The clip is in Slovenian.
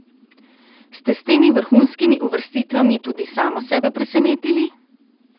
Ste s temi vrhunskimi uvrstitvami tudi samo sebe presenetili?